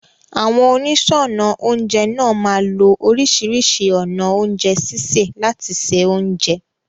Àwọn oníṣọ́ọnà oúnjẹ náà máa lo oríṣìíríṣìí ọ̀nà oúnjẹ sísè láti se oúnjẹ.